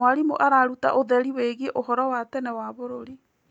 Mwarimũ araruta ũtheri wĩgiĩ ũhoro wa tene wa bũrũri.